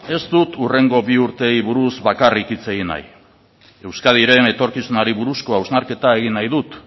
ez dut hurrengo bi urteei buruz bakarrik hitz egin nahi euskadiren etorkizunari buruzko hausnarketa egin nahi dut